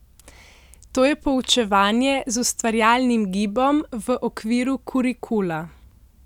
To je poučevanje z ustvarjalnim gibom, v okviru kurikula.